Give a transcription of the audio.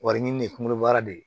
Warinin ye kungolo bara de ye